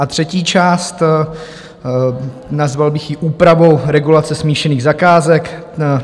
A třetí část, nazval bych ji úpravou regulace smíšených zakázek.